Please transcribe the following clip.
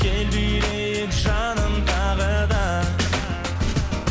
кел билейік жаным тағы да